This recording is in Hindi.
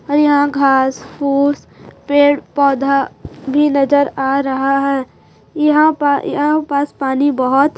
और यहाँ पर घास-फूस पेड़ृ-पौधा भी नज़र आ रहा है यहाँ पा यहाँ पास पानी बहोत --